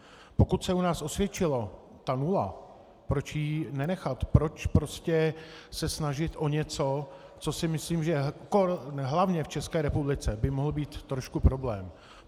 Pokud se u nás osvědčila ta nula, proč ji nenechat, proč prostě se snažit o něco, co si myslím, že hlavně v České republice by mohl být trošku problém.